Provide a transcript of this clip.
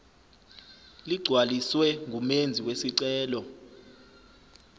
ligcwaliswe ngumenzi wesicelo